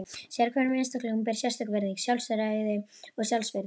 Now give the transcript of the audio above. Sérhverjum einstaklingi ber sérstök virðing, sjálfræði og sjálfsvirðing.